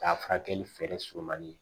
K'a furakɛli feere sɔrɔ man di